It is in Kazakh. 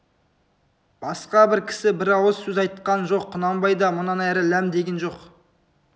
басқа бір кісі бір ауыз сөз айтқан жоқ құнанбай да мұнан әрі ләм деген жоқ